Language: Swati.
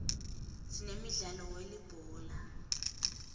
sinemdlalo welibhola